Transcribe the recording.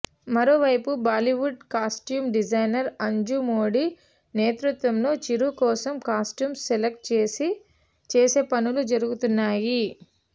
మరోవైపు Bollywood costume designer Anju Modi నేతృత్వంలో చిరు కోసం కాస్ట్యూమ్స్ సెలక్ట్ చేసే పనులు జరుగుతున్నాయి